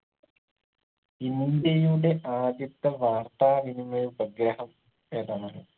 ഇന്ത്യയുടെ ആദ്യത്തെ വാർത്താ വിനിമയ ഉപഗ്രഹം ഏതാന്നറിയോ